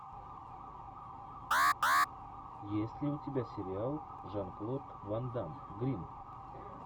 есть ли у тебя сериал жан клод ван дамм гримм